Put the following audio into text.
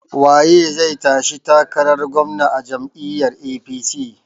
Waye zai tashi takarar gwamna a jam'iyyar APC?